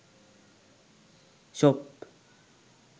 shop